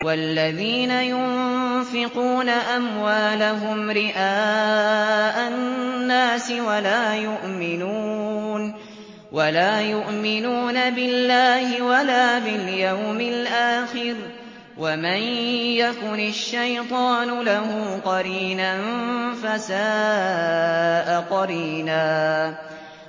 وَالَّذِينَ يُنفِقُونَ أَمْوَالَهُمْ رِئَاءَ النَّاسِ وَلَا يُؤْمِنُونَ بِاللَّهِ وَلَا بِالْيَوْمِ الْآخِرِ ۗ وَمَن يَكُنِ الشَّيْطَانُ لَهُ قَرِينًا فَسَاءَ قَرِينًا